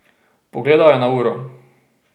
Pogledal je na uro.